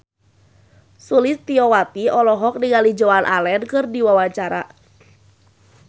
Sulistyowati olohok ningali Joan Allen keur diwawancara